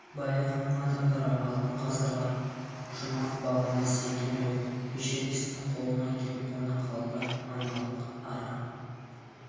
баяғының адамдары алтын ғасырға жұмақ бағына сенген ғой эшересттің қолына кеп қона қалды аналық ара